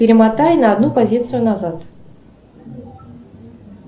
перемотай на одну позицию назад